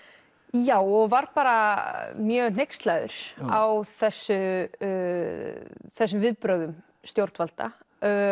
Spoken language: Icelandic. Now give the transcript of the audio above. já og var bara mjög hneykslaður á þessum þessum viðbrögðum stjórnvalda